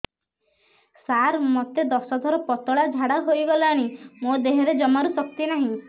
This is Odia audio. ସାର ମୋତେ ଦଶ ଥର ପତଳା ଝାଡା ହେଇଗଲାଣି ମୋ ଦେହରେ ଜମାରୁ ଶକ୍ତି ନାହିଁ